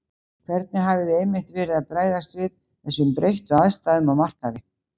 Hvernig hafið þið einmitt verið að bregðast við þessum breyttu aðstæðum á markaði?